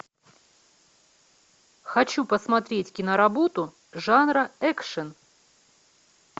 хочу посмотреть киноработу жанра экшн